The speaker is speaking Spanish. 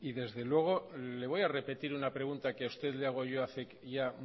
desde luego le voy a repetir una pregunta que a usted le hago yo hace ya